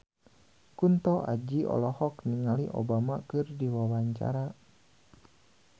Kunto Aji olohok ningali Obama keur diwawancara